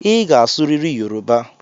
Ị ga-asụrịrị Yoruba!